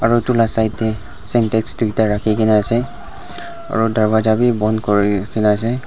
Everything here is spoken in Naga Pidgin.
aru etu laga side tae centax duita rakhina ase aru durbaza vi bon kuri kena ase.